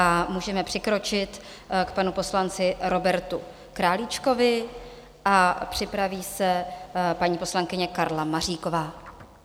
A můžeme přikročit k panu poslanci Robertu Králíčkovi a připraví se paní poslankyně Karla Maříková.